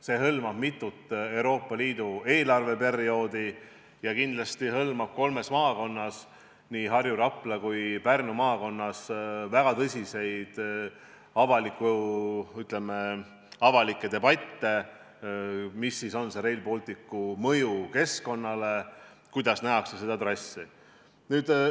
See hõlmab mitut Euroopa Liidu eelarveperioodi ja kindlasti hõlmab kolmes maakonnas – nii Harju, Rapla kui ka Pärnu maakonnas – peetavaid väga tõsiseid avalikke debatte selle üle, milline on Rail Balticu mõju keskkonnale ja kuidas seda trassi nähakse.